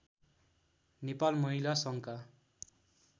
नेपाल महिला सङ्घका